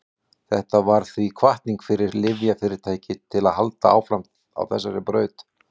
þetta varð því hvatning fyrir lyfjafyrirtæki til að halda áfram á þessari braut